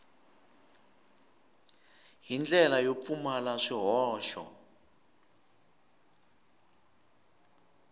hi ndlela yo pfumala swihoxo